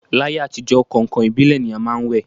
L'ayé àtijọ́, kàǹkàn ìbílẹ̀ ni a má ń wẹ̀